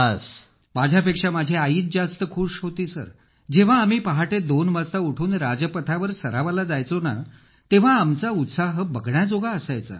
अखिल माझ्यापेक्षा माझी आई जास्त खुश होती सर जेव्हा आम्ही पहाटे दोन वाजता उठून राजपथावर सरावाला जायचो तेव्हा आमचा उत्साह बघण्याजोगा असायचा